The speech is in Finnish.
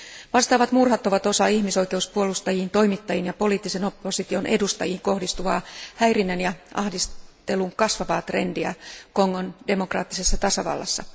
Vastaavat murhat ovat osa ihmisoikeuspuolustajiin, toimittajiin ja poliittisen opposition edustajiin kohdistuvaa häirinnän ja ahdistelun kasvavaa trendiä Kongon demokraattisessa tasavallassa.